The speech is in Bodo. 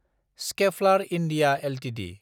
Schaeffler India Ltd